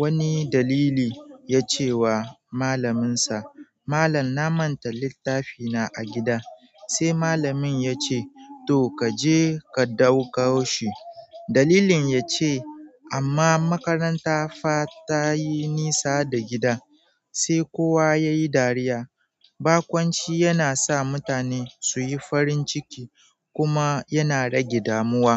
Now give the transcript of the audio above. wani dalili ya cewa malamin sa malan na manta littafi na a gida se malamin ya ce, "to, ka je ka daukau shi." Dalilin ya ce, "amma makaranta fa tayi nisa da gida." Sai kowa ya yi dariya. Bakunci yana sa mutane su yi farin ciki kuma yana rage damuwa.